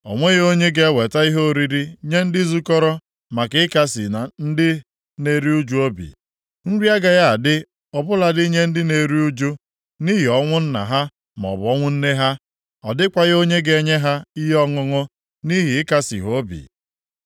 O nweghị onye ga-eweta ihe oriri nye ndị zukọrọ maka ịkasị ndị na-eru ụjụ obi. Nri agaghị adị ọ bụladị nye ndị na-eru ụjụ, nʼihi ọnwụ nna ha maọbụ ọnwụ nne ha. Ọ dịkwaghị onye ga-enye ha ihe ọṅụṅụ nʼihi ịkasị ha obi.